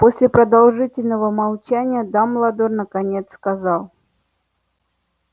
после продолжительного молчания дамблдор наконец сказал